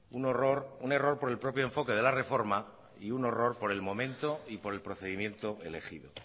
un horror un error por el propio enfoque de la reforma y un horror por el momento y por el procedimiento elegido